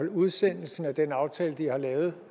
udsendelsen af den aftale de har lavet